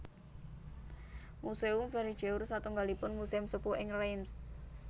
Muséum Vergeur satunggalipun muséum sepuh ing Reims